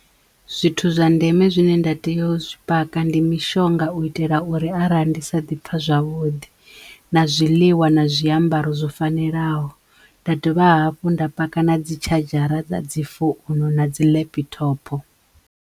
Zwithu zwa ndeme zwine nda teyo u zwi paka ndi mishonga u itela uri arali ndi sa ḓi pfha zwavhuḓi na zwiḽiwa na zwiambaro zwo fanelaho nda dovha hafhu nda paka na dzi tshadzhara dza dzi founu na dzi laptop.